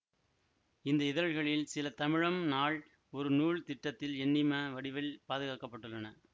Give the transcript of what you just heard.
இந்த இதழ்களில் சில தமிழம் நாள் ஒரு நூல் திட்டத்தில் எண்ணிம வடிவில் பாதுகாக்க பட்டுள்ளன